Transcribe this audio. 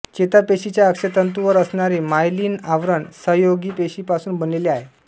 चेतापेशीच्या अक्षतंतूवर असणारे मायलिन आवरण सहयोगीपेशीपासून बनलेले आहे